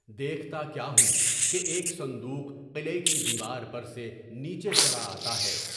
دیکھتا کیا ہوں کہ ایک صندوق قلعے کی دیوار پر سے نیچے چلا آتا ہے۔